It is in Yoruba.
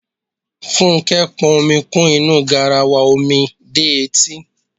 Fúnkẹ́ pọn omi kún inú garawa omi dé etí.